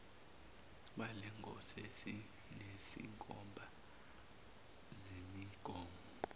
balengosi esinezinkomba zemigomo